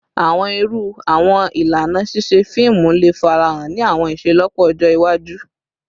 Awọn iru awọn ilana ṣiṣe fiimu le farahan ni awọn iṣelọpọ ọjọ iwaju?